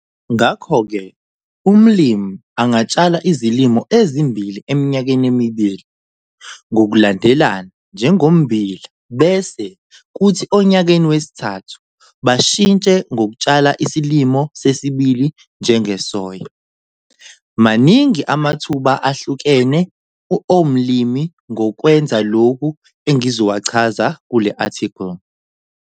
Ngakho-ke, umlimi angatshala izilimo ezimbili eminyakeni emibili ngokulandelana njengommbila bese kuthi onyakeni wesithathu bashitshe ngokutshala isilimo sesibili njengesoya. Maningi amathuba ahlukene omlimi ngokwenza lokhu engizowachaza kule-athikhili.